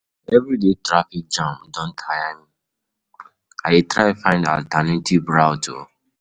um Everyday traffic jam don tire me, I dey try find alternative route.